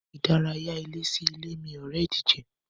Ìdárayá ilé sí ilé mí ore ìdíje.